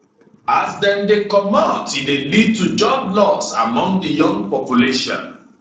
as dem dey comot e dey lead to job loss among di young population